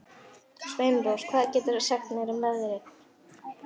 Sveinrós, hvað geturðu sagt mér um veðrið?